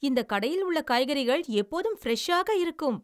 இந்தக் கடையில் உள்ள காய்கறிகள் எப்போதும் ஃபிரெஷ்ஷாக இருக்கும்!